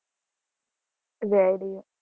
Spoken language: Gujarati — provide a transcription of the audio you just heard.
ready